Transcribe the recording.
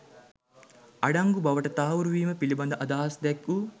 අඩංගු බවට තහවුරු වීම පිළිබඳ අදහස් දැක්වූ